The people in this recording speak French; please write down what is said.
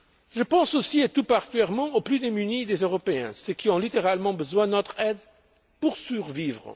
Je pense aussi, et tout particulièrement, aux plus démunis des Européens, à ceux qui ont littéralement besoin de notre aide pour survivre.